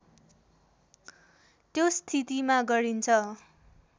त्यो स्थितिमा गरिन्छ